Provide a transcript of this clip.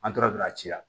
An tora don a ci la